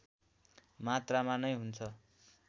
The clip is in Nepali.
मात्रामा नै हुन्छ